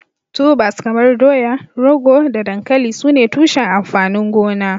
Tubers kamar dowa, rogo da dankali sune tushen amfanin gona.